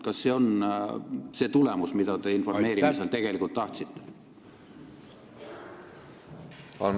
Kas see on tulemus, mida te informeerimisel tegelikult tahtsite?